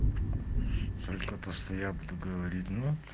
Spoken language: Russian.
только просто я буду говорить ну